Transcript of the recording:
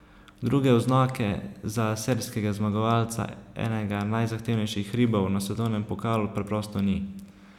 Druge oznake za serijskega zmagovalca enega najzahtevnejših hribov na svetovnem pokalu preprosto ni.